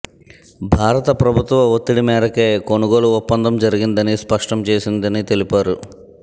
భారత ప్రభుత్వ ఒత్తిడి మేరకే కొనుగోలు ఒప్పందం జరిగిందని స్పష్టం చేసిందని తెలిపారు